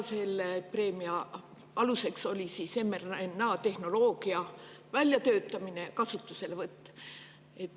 Selle preemia aluseks oli mRNA-tehnoloogia väljatöötamine ja kasutuselevõtt.